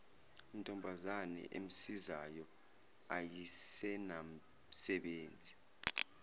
ntombazana emsizayo ayisenamsebenzi